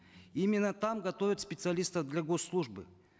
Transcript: именно там готовят специалистов для госслужбы